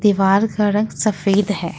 दीवार का रंग सफेद है।